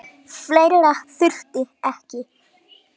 Fleira þurfti ekki til.